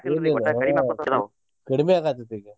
ಕಡ್ಮಿ ಆಗಾತೇತ್ರೀ ಈಗ್.